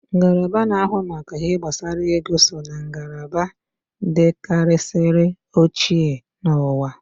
Ngalaba na ahụ maka ihe gbasara ego so ná ngalaba dikarisiri ochie n'uwa